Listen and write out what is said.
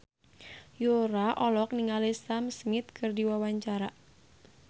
Yura olohok ningali Sam Smith keur diwawancara